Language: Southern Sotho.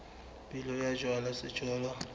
pele ho ka jalwa sejothollo